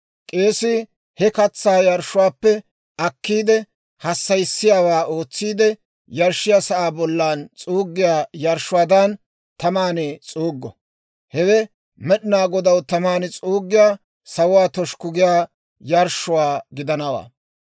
K'eesii he katsaa yarshshuwaappe akkiide, hassayissiyaawaa ootsiide, yarshshiyaa sa'aa bollan s'uuggiyaa yarshshuwaadan taman s'uuggo; hewe Med'inaa Godaw taman s'uuggiyaa, sawuwaa toshukku giyaa yarshshuwaa gidanawaa.